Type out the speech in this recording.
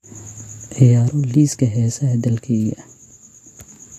ciyaaro liiska heesaha dalkayga